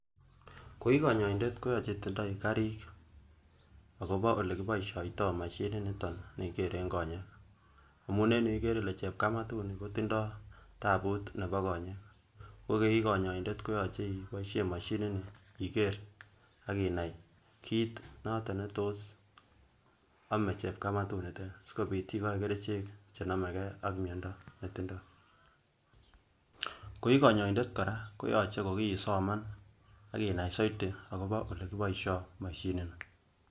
Koii konyoindet konyolu itindoi karik akobo olekiboishoito mashiniton nekikeren konyek amuun en yuu ikeree ilee chepkamatuni kotindo tabuut nebo konyek, ko koii konyoindet koyoche iboishen moshini nii ikeer akinai kiit noton netos omee chepkamatu niteet, sikobit ikoi kerichek chenomekee ak miondo netindo, koii konyoindet kora koyoche kokiisoman akinai soiti akobo elekiboishoito mashini nii.